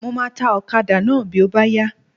Mo máa ta ọ̀kadà náà bí ó bá yá.